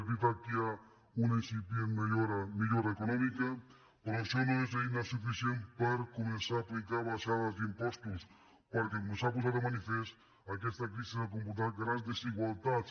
és veritat que hi ha una incipient millora econòmica però això no és eina suficient per començar a aplicar baixades d’im·postos perquè com s’ha posat de manifest aquesta crisi ha comportat grans desigualtats